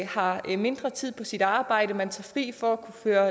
har man mindre tid på sit arbejde og man tager fri for at kunne føre